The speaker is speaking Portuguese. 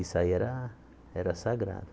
Isso aí era era sagrado.